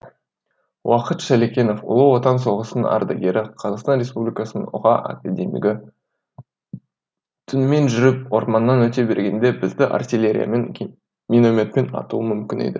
уақыт шалекенов ұлы отан соғысының ардагері қазақстан республикасының ұға академигі түнімен жүріп орманнан өте бергенде бізді артиллериямен минометпен атуы мүмкін еді